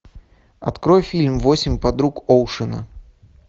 открой фильм восемь подруг оушена